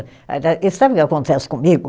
E sabe o que acontece comigo?